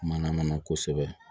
Mana mana kosɛbɛ